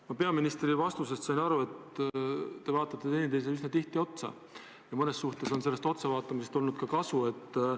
Ma sain peaministri vastusest aru, et te vaatate teineteisele üsna tihti otsa, ja mõnes mõttes on sellest otsa vaatamisest ka kasu olnud.